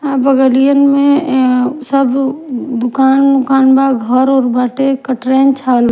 बगलियन में एं सब दुकान उकान बा घर ओर बाटे --